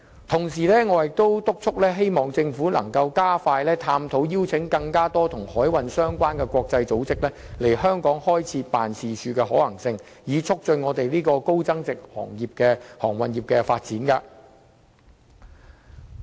同時，我也促請政府加快探討邀請更多與海運相關的國際組織在香港開設辦事處的可行性，以促進香港高增值航運業的發展。